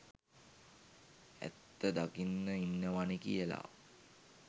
ඇත්ත දකින්න ඉන්නවනේ කියල.